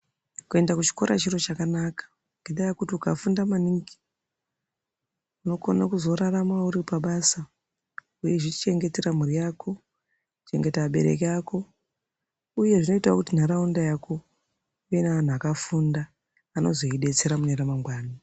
Kuenda kuchikora chiro chakanaka ngendaa yekuti ukafunda maningi unokona kuzorarama uri pabasa weizvichengetera mhuri yako, kuchengeta vabereki ako uyezve zvinoita kuti nharaunda yako ive nevantu vakafunda vanozoidetsera mune remangwani.